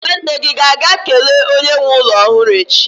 nwanne gi ga-aga kele onye nwe ulo ohuru echi?